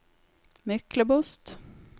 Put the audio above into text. Myklebost